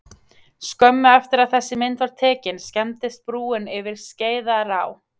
Skömmu eftir að þessi mynd var tekin skemmdist brúin yfir Skeiðará.